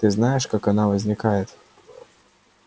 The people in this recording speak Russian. ты знаешь как она возникает